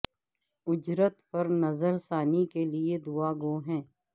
اجرت پر نظر ثانی کے لئے دعا گو ہیں